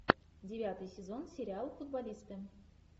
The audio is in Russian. девятый сезон сериал футболисты